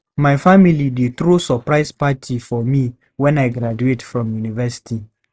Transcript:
My family dey throw surprise party for me when I graduate from university.